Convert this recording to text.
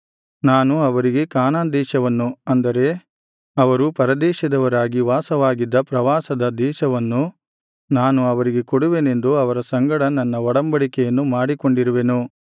ನಾನು ಅವರಿಗೆ ಕಾನಾನ್ ದೇಶವನ್ನು ಅಂದರೆ ಅವರು ಪರದೇಶದವರಾಗಿ ವಾಸವಾಗಿದ್ದ ಪ್ರವಾಸದ ದೇಶವನ್ನು ನಾನು ಅವರಿಗೆ ಕೊಡುವೆನೆಂದು ಅವರ ಸಂಗಡ ನನ್ನ ಒಡಂಬಡಿಕೆಯನ್ನು ಮಾಡಿಕೊಂಡಿರುವೆನು